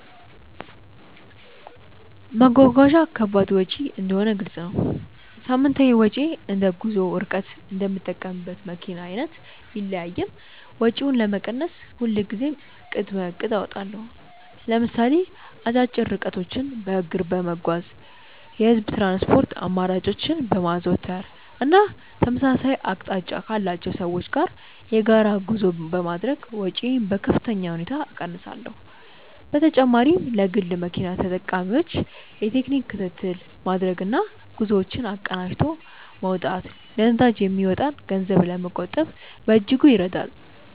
መጓጓዣ ከባድ ወጪ እንደሆነ ግልጽ ነው። ሳምንታዊ ወጪዬ እንደ ጉዞው ርቀትና እንደምጠቀምበት መኪና አይነት ቢለያይም፣ ወጪውን ለመቀነስ ሁልጊዜም ቅድመ እቅድ አወጣለሁ። ለምሳሌ አጫጭር ርቀቶችን በእግር በመጓዝ፣ የህዝብ ትራንስፖርት አማራጮችን በማዘውተር እና ተመሳሳይ አቅጣጫ ካላቸው ሰዎች ጋር የጋራ ጉዞ በማድረግ ወጪዬን በከፍተኛ ሁኔታ እቀንሳለሁ። በተጨማሪም ለግል መኪና ተጠቃሚዎች የቴክኒክ ክትትል ማድረግና ጉዞዎችን አቀናጅቶ መውጣት ለነዳጅ የሚወጣን ገንዘብ ለመቆጠብ በእጅጉ ይረዳል።